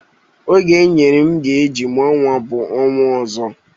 Oge enyere m ga eji mụọ nwa bụ ọnwa ọzọ